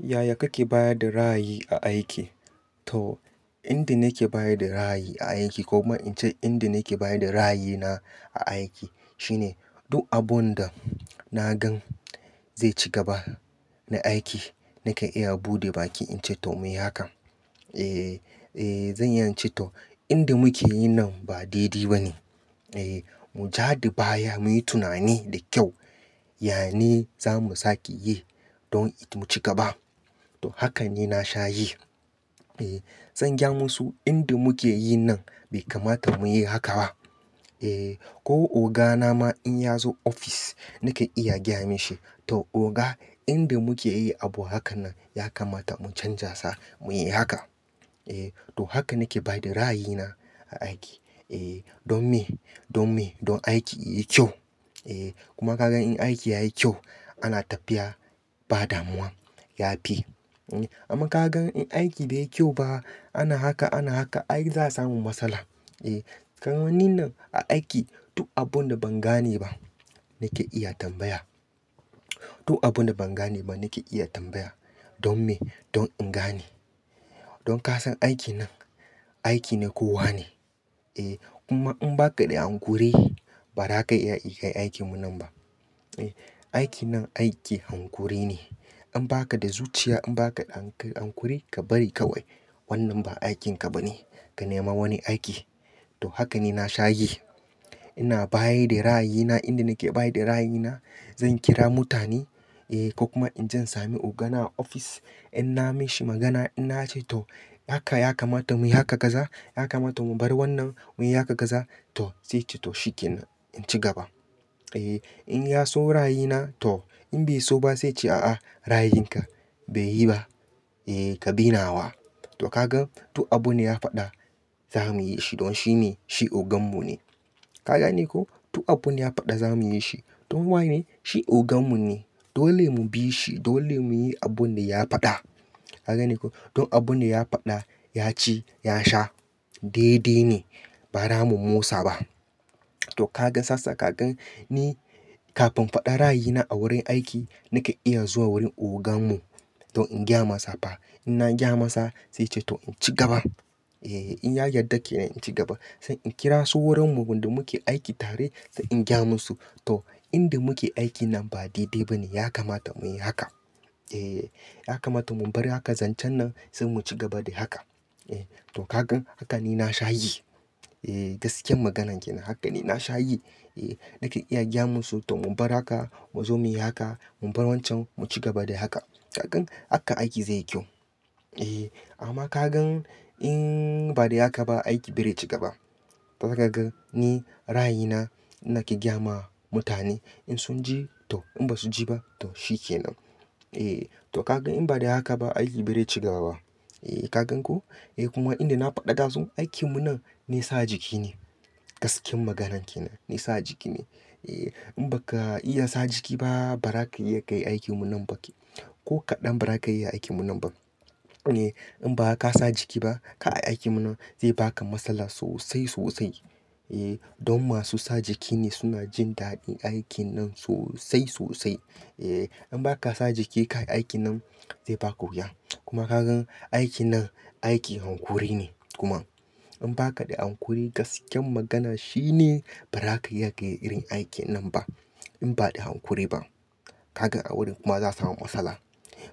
Yaya kake baya da ra'ayi aiki? To, inda nake baya da ra'ayi a aiki ko kuma in ce inda nake baya da ra'ayina a aiki shine duk abun da na gan zai ci gaba na aiki nake iya buɗe baki in ce to muyi hakan. Eh, zan inya ce to inda muke yi nan ba daidai ba ne. Eh, mu ja da baya muyi tunani da kyau. Yane zamu sake yi don mu ci gaba. To, haka ne na sha yi. Eh, zan gaya musu inda muke yi nan bai kamata mu yi haka ba. Eh, ko ogana ma in ya zo ofis nake iya gaya mishi to oga inda muke yi abu haka nan ya kamata mu canjasa muyi haka. Eh, to haka nake baya da ra'ayina a aiki. Eh, don me, don me, don aiki yayi kyau. Eh, kuma kaga in aiki yayi kyau ana tafiya ba damuwa, ya fi. Amma kaga in aiki bai yi kyau ba ana haka, ana haka ai za a samu matsala. Eh, kamanni nan a aiki duk abun da ban gane ba nake iya tambaya. Duk abun da ban gane ba nake iya tambaya. Don me? Don in gane. Don ka san aiki nan, aiki na kowa ne. Eh, kuma in ba ka da hankuri ba raka iya kai aikin mu nan ba. Aiki nan aiki hankuri ne. In ba ka da zuciya in ba ka da hankuri ka bari kawai. Wannan ba aikin ka ba ne. Ka nema wani aiki. To, haka ne na sha yi. Ina baya da ra'ayina inda nake baya da ra'ayina. Zan kira mutane eh ko kuma in jan sami ogana a ofis in na mishi magana in na ce to haka ya kamata muyi haka kaza, ya kamata mu bar wannan muyi haka kaza to sai ce to shi ke nan, in ci gaba. Eh, in ya so ra'ayina to in bai so ba sai ce a'a ra'ayinka bai yi ba. Eh, ka bi nawa. To, ka gan duk abu ne ya faɗa zamu yi shi don shi ne, shi ogan mu ne. Ka gane ko? Duk abun da ya faɗa zamu yi shi. Ko waye? Shi ogan mu ne. Dole mu bi shi. Dole muyi abun da ya faɗa. Ka gane ko? Duk abun da ya faɗa, ya ci, ya sha daidai ne. Ba ra mu motsa ba. To, ka gan sassa ka gan ni kafin faɗa ra'ayina a wurin aiki nake iya zuwa wurin ogan mu to in gaya masa fa. In na gaya masa sai ce to in ci gaba. Eh, in ya yarda ke nan in ci gaba. Sai in kira su wurinmu wanda muke aiki tare sai in gaya musu. To, inda muke aiki nan ba daidai ba ne. Ya kamata muyi haka. Eh, ya kamata mu bar haka zancen nan sai mu ci gaba da haka. Eh, to kaga haka ne na sha yi. Eh, gaskiyar magana ke nan. Haka ne na sha yi. Eh, nake iya gaya musu to mu bar haka mu zo muyi haka. Mu bar wancan mu ci gaba da haka. Ka gan haka aiki zai yi kyau. Eh, amma ka gan in ba da haka ba aiki bai dai ci gaba. Ka ga ni ra'ayina ina ke gaya ma mutane in sun ji to in ba su ji ba to shi ke nan. Eh, to ka gan in ba da haka ba aiki bai dai ci gaba ba. Eh, ka gan ko? Eh kuma inda na faɗa ɗazu aikin mu nan nei sa jiki ne. Gaskiyar magana ke nan. Zai sa jiki ne. Eh, in ba ka iya sa jiki ba ba raka iya kai aikin mu ba ki. Ko kaɗan ba raka iya aikin mu ba. Eh, in ba ka sa jiki ba ka aiki mu nan zai baka matsala sosai, sosai. Eh, don masu sa jiki ne suna jin daɗin aikin nan sosai, sosai. Eh, in ba ka sa jiki ka yi aikin nan zai baki wuya. Kuma ka gan aiki nan, aiki hankuri ne kuma. In ba ka da hankuri gaskiyar magana shi ne ba raka iya kai irin aikin nan ba. In ba da hankuri ba. Ka ga a wurin kuma za a samu matsala.